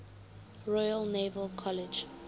royal naval college